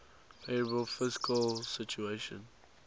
favourable fiscal situation